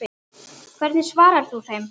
Hvernig svarar þú þeim?